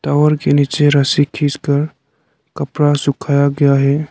Tower के नीचे रस्सी खींचकर कपड़ा सुखाया गया है।